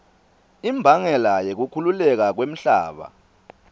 imbangela yekukhukhuleka kwemhlaba